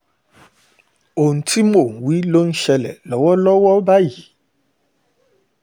ohun tí mò ń wí wí ló ń ṣẹlẹ̀ lọ́wọ́lọ́wọ́ báyìí o